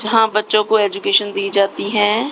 जहां बच्चों को एज्युकेशन दी जाती है।